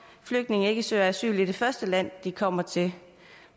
flygtninge ikke søger asyl i det første land de kommer til